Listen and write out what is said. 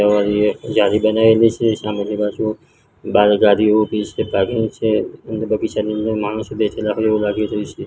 જારી બનાવેલી છે સામેની બાજુ બાર ગાડી ઊભી છે પાર્કિંગ છે બગીચાની અંદર માણસો બેઠેલા હોય એવુ લાગી રહ્યુ છે.